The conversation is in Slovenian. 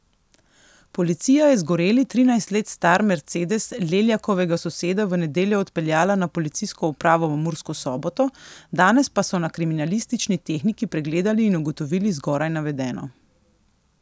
Policija je zgoreli trinajst let star mercedes Leljakovega soseda v nedeljo odpeljala na policijsko upravo v Mursko Soboto, danes pa so na kriminalistični tehniki pregledali in ugotovili zgoraj navedeno.